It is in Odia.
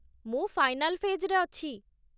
ମୁଁ ଫାଇନାଲ୍ ଫେଜ୍‌ରେ ଅଛି ।